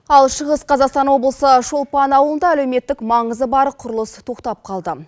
ал шығыс қазақстан облысы шолпан ауылында әлеуметтік маңызы бар құрылыс тоқтап қалды